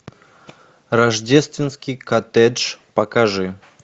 рождественский коттедж покажи